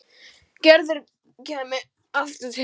Gerður kæmi aftur til hans.